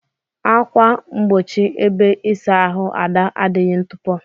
ákwà mgbochi ebe isa ahụ Ada adighi ntupo.